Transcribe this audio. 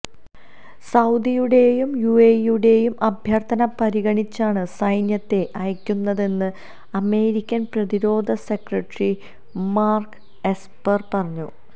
സൌദിയുടെയും യുഎഇയുടെയും അഭ്യര്ഥന പരിഗണിച്ചാണ് സൈന്യത്തെ അയക്കു ന്നതെന്ന് അമേരിക്കന് പ്രതിരോധ സെക്രട്ടറി മാര്ക്ക് എസ്പര് പറഞ്ഞു